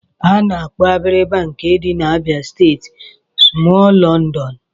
Ana-akpọ Abiriba nke dị n'Abịa steeti smọọl London